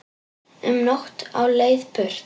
Um nótt á leið burt